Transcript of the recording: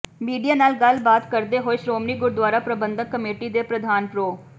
media ਨਾਲ ਗੱਲਬਾਤ ਕਰਦੇ ਹੋਏ ਸ਼੍ੋਮਣੀ ਗੁਰਦੁਆਰਾ ਪ੍ਰਬੰਧਕ ਕਮੇਟੀ ਦੇ ਪ੍ਰਧਾਨ ਪ੍ਰੋ